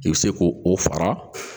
I bɛ se ko o fara